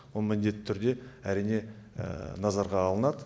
ол міндетті түрде әрине назарға алдынады